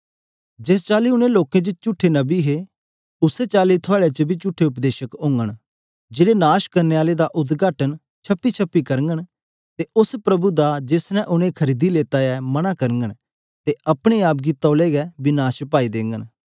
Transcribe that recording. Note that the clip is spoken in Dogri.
जिस चली ऊन लोकें च चुठे नबी हे उसै चली थुआड़े बिचा बी चुठे उपदेशक होगन जेड़े नाश करने आले पाखण्ड दा उद्घाटन छिपी छीपिये करगन अते ओस स्वामी दा जिन्ने उनेगी मोल लेता ऐ इन्कार करगन अते अपने आप गी जल्दी विनाश च डाली देने ए